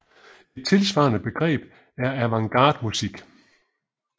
Et tilsvarende begreb er avantgarde musik